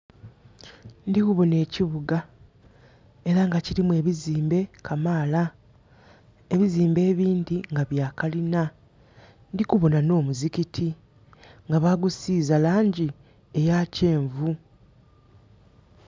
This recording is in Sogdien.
Ndhi kubonha ekibuga era nga kirimu ebizimbe kamaala. Ebizimbe ebindhi nga bya kalina. Ndhi kubonha nho muzikiti nga bagusiiza langi eya kyenvu.